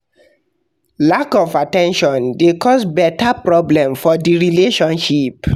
Lack of at ten tion de cause beta problem for di relationship